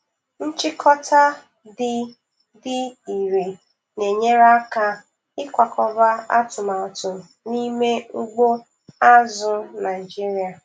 Nchịkọta dị dị ire na-enyere aka ịkwakọba atụmatụ n'ime ugbo azụ̀ Naịjiria.